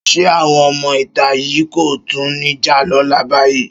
Ṣé àwọn ọmọ ìta yìí kò tún ní jà lọ́la báyìí?